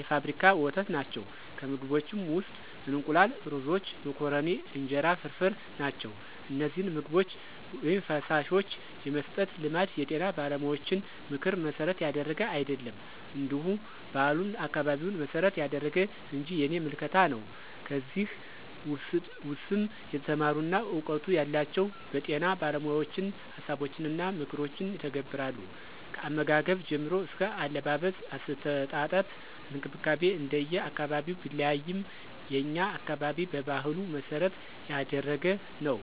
የፋብሪካ ወተት ናቸው፣ ከምግቦችም ውስጥ እንቁላል፣ ሩዞች፣ መኮረኒ፣ እንጀራ ፍርፍር ናቸው። እነዚህን ምግቦች/ፈሳሾች የመስጠት ልማድ የጤና ባለሙያዎችን ምክር መሠረት ያደረገ አይደለም እንዲሁ ባህሉን፣ አካባቢውን መሰረት ያደረገ እንጅ የኔ ምልከታ ነው። ከዚህ ውስም የተማሩና እውቀቱ ያላቸው በጤና ባለሞያዎችን ሀሳቦችንና ምክሮችን ይተገብራሉ። ከአመጋገብ ጀምሮ አስከ አለባበስ፣ አስተጣጠብ እንክብካቤ እንደየ አካባቢው ቢለያይም የኛ አካባቢ በባህሉ መሰረት ያደረገ ነው።